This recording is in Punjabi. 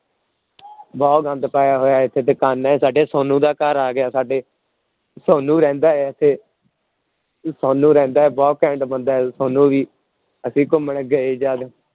ਬਹੁਤ ਗੰਦ ਪਾਇਆ ਹੋਇਆ ਇੱਥੇ ਸਾਡੇ ਸੋਨੂੰ ਦਾ ਘਰ ਆ ਗਿਆ ਸਾਡੇ, ਸੋਨੂੰ ਰਹਿੰਦਾ ਹੈ ਇੱਥੇ ਸੋਨੂੰ ਰਹਿੰਦਾ ਹੈ ਬਹੁਤ ਘੈਂਟ ਬੰਦਾ ਹੈ ਸੋਨੂੰ ਵੀ, ਅਸੀਂ ਘੁੰਮਣ ਗਏ ਜਦ